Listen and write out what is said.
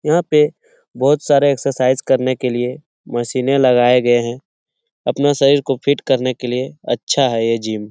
यहाँ पे बहुत सारे एक्सरसाइज करने के लिए मशीनें लगाए गए हैं अपने शरीर को फिट करने के लिए अच्छा है ये जिम ।